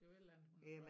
Det var et eller andet hun